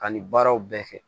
Ka nin baaraw bɛɛ kɛ